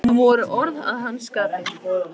Þetta voru orð að hans skapi.